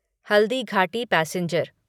Haldighati passenger